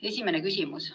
Esimene küsimus.